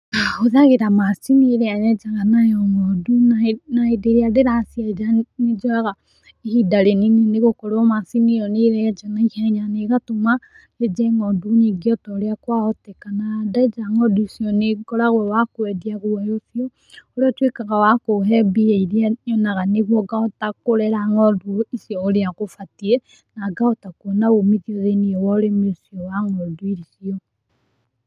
Hũthagĩra macini ĩrĩa yenjaga nayo ngondu na hĩndĩ ĩrĩa ndĩracienja nĩ njoyaga ihinda rĩnini nĩ gũkorwo macini ĩyo nĩ ĩrenja na ihenya na ĩgatũma nyenje ngondu nyingĩ o ta ũrĩa kwahoteka na ndenja ngondu icio nĩ ngoragwo wa kwendia guoya ũcio, ũrĩa ũtuĩkaga wa kũhe mbia iria nyonaga nĩguo ngahota kũrera ngondu icio ũrĩa gũbatiĩ, na ngahota kuona umithio thĩini wa ũrĩmi ũcio wa ng'ondu icio.